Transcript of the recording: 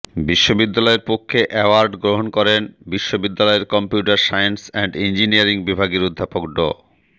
বিশ্ববিদ্যালয়ের পক্ষে অ্যাওয়ার্ড গ্রহণ করেন বিশ্ববিদ্যালয়ের কম্পিউটার সায়েন্স এন্ড ইঞ্জিনিয়ারিং বিভাগের অধ্যাপক ড